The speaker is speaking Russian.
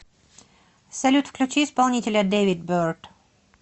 салют включи исполнителя дэвид берт